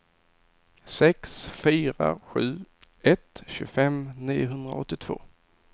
sex fyra sju ett tjugofem niohundraåttiotvå